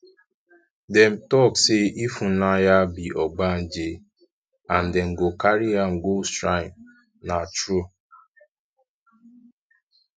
dem talk say ifunanya be ogbanje and dem go carry am go shrine na true